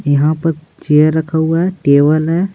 यहां पर चेयर रखा हुआ है टेबल है।